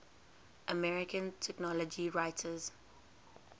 american technology writers